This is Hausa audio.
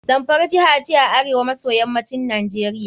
Zamfara jiha ce a arewa maso yammacin Najeriia.